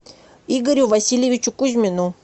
игорю васильевичу кузьмину